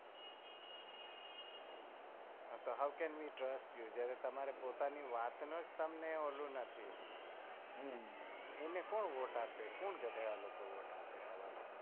હા તો હાઉં કેન વી ટ્રસ્ટ યુ જયારે તમારી વાત નો જ તમને ઓલું નથી એને કોણ વોટ આપે? કોણ ગધેડા લોકો વોટ આપે